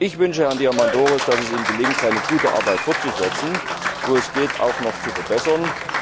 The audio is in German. Ich wünsche Herrn Diamandouros, dass es ihm gelingt, seine gute Arbeit fortzusetzen und, wo es geht, auch noch zu verbessern.